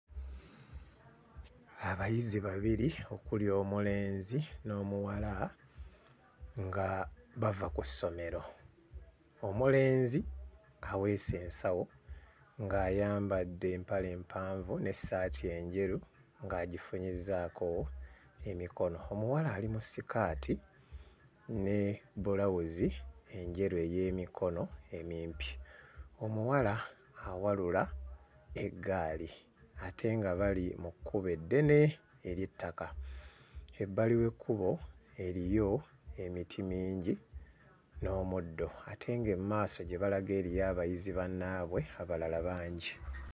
Abayizi babiri okuli omulenzi n'omuwala nga bava ku ssomero. Omulenzi aweese ensawo ng'ayambadde empale empanvu n'essaati enjeru ng'agifunyizzaako emikono. Omuwala ali mu sikaati ne bbulawuzi enjeru ey'emikono emimpi. Omuwala awalula eggaali ate nga bali mu kkubo eddene ery'ettaka. Ebbali w'ekkubo eriyo emiti mingi n'omuddo ate ng'emmaaso gye balaga eriyo abayizi bannaabwe abalala bangi.